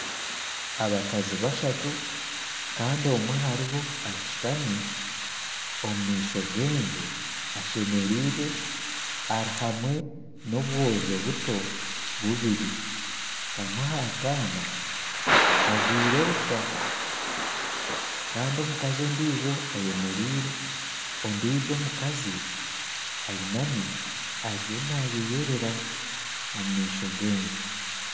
Abakazi bashatu Kandi omwe aharibo ashutami omu maisho genju ashemereirwe ari hamwe n'obwojo buto bubiri kamwe kamwe akaana kajwaire busha Kandi omukazi ondiijo ayemereire ondiijo omukazi ainami ariyo nayeyerera omu maisho genju